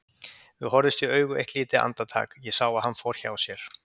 Við horfðumst í augu eitt lítið andartak, ég sá að hann fór hjá sér.